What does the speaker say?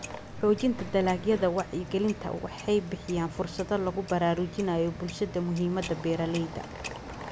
Xoojinta Dalagyada Wacyigelinta waxay bixiyaan fursado lagu baraarujinayo bulshada muhiimada beeralayda.